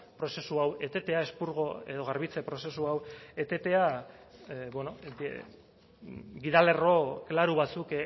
prozesu hau etetea espurgo edo garbitze prozesu hau etetea gida lerro klaro batzuk